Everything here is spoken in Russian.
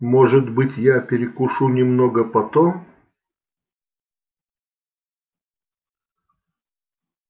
может быть я перекушу немного потом